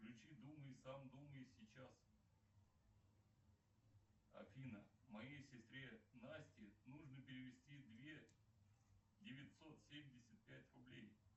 включи думай сам думай сейчас афина моей сестре насте нужно перевести две девятьсот семьдесят пять рублей